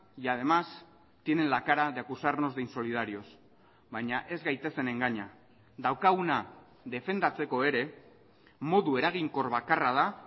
y además tienen la cara de acusarnos de insolidarios baina ez gaitezen engaina daukaguna defendatzeko ere modu eraginkor bakarra da